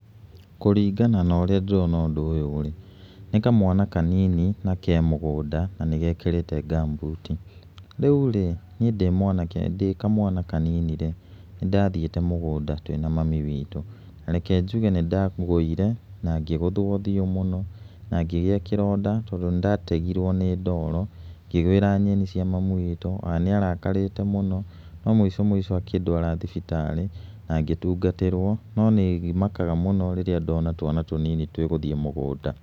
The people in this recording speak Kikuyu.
Kũringana na ũríĩ ndĩrona ũndũ ũyũ rĩ, nĩ kamwanakanini na ke mũgũnda na nĩ gekĩtĩte ngamumbuti, rĩu rĩ, niĩ ndĩ mwanake, ndĩ kamwana kanini rĩ, nĩ ndathiĩte mũgũnda twĩ na mami witũ, rejke njuge nĩ ndagũire na ngĩgũthũo ũthiũ mũno, na ngĩgĩa kĩronda tondũ nĩ ndategirwo nĩ ndoro ngĩgũĩra nyeni cia mami witu, na nĩ arakarĩte mũno, no mũico mũico akĩndwara thibitarĩ, na ngĩtungatĩrwo. No nĩ makaga mũno rĩríĩ ndona twana tũnini twĩgũthiĩ mũgũnda.